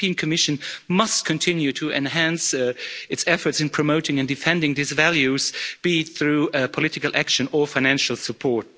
The European Commission must continue to enhance its efforts in promoting and defending these values, be through political action or financial support.